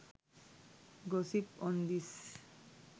gossip on this